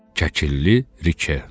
Kəkilli Rike.